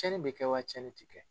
Tiɲɛni bɛ kɛ wa? tiɲɛni ti kɛ?